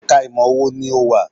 Ẹ̀ka ìmọ̀ wo ni ò wà?